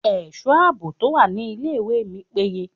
Ẹ̀sọ́ àbò tó wà ní ilé ìwé mi péye.